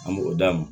A mɔgɔ d'a ma